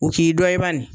U k'i dɔ i ba nin